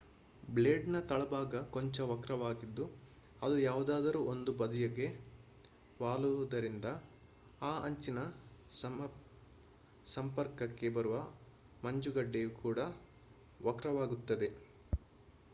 blade ನ ‌ ತಳಭಾಗ ಕೊಂಚ ವಕ್ರವಾಗಿದ್ದು ಅದು ಯಾವುದಾದರೂ ಒಂದು ಬದಿಗೆ ವಾಲುವುದರಿಂದ ಆ ಅಂಚಿನ ಸಂಪರ್ಕಕ್ಕೆ ಬರುವ ಮಂಜುಗಡ್ಡೆಯು ಕೂಡಾ ವಕ್ರವಾಗುತ್ತದೆ